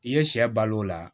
I ye sɛ balo o la